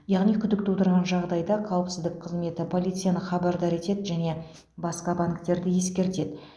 яғни күдік тудырған жағдайда қауіпсіздік қызметі полицияны хабардар етеді және басқа банктерді ескертеді